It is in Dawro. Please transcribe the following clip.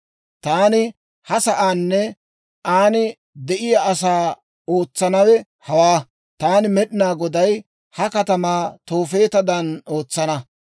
Taani ha sa'aanne an de'iyaa asaa ootsanawe hawaa; taani Med'inaa Goday ha katamaa Toofeetadan ootsana.